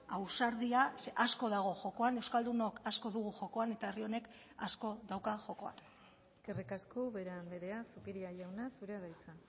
ausardia zeren asko dago jokoan euskaldunok asko dugu jokoan eta herri honek asko dauka jokoan eskerrik asko ubera andrea zupiria jauna zurea da hitza